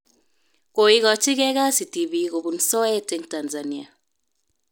Koikachigei kasi tibik kobun soet eng Tanzania